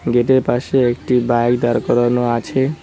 গেটের পাশে একটি বাইক দাঁড় করানো আছে।